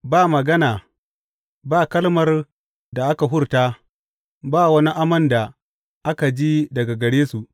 Ba magana, ba kalmar da aka hurta, ba wani amon da aka ji daga gare su.